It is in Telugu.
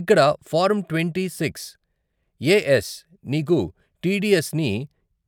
ఇక్కడ ఫారం ట్వంటీ సిక్స్ఏఎస్ నీకు టీడీఎస్ని,